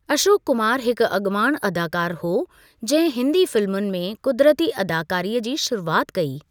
अशोक कुमार हिकु अॻवाणु अदाकारु हो जंहिं हिंदी फिल्मुनि में क़ुदरती अदाकारीअ जी शुरूआत कई।